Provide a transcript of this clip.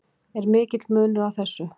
Er mikill munur á þessu?